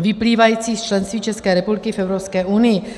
vyplývajících z členství České republiky v Evropské unii.